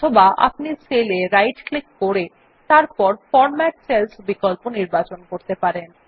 অথবা আপনি সেল এ রাইট ক্লিক এবং তারপর ফরম্যাট সেলস বিকল্প নির্বাচন করতে পারেন